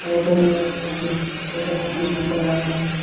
Photo में motive automotive लिखा हुआ है।